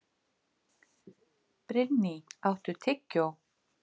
Brynný, áttu tyggjó?